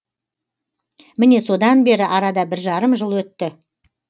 міне содан бері арада бір жарым жыл өтті